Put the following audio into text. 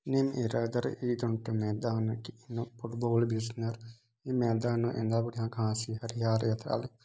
निन एरादन एदन मैदान की फुटबॉल बिसनर ई मैदान इना बढ़िया घास हरियाली अतालिक |